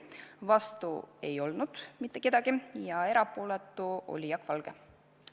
Vastu ei olnud mitte keegi ja erapooletuks jäi Jaak Valge.